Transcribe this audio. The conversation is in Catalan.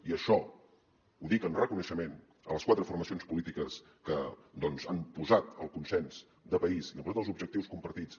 i això ho dic en reconeixement a les quatre formacions polítiques que doncs han posat el consens de país i han posat els objectius compartits